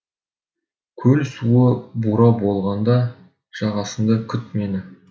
көл суы бура болғанда жағасында күт мені